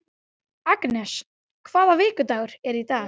Agnes, hvaða vikudagur er í dag?